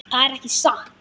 Það er ekki satt.